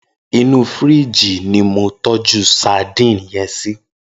Inú fírìjí ni mó tòjú sàdín yèn sí